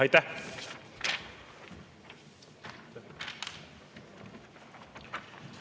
Aitäh!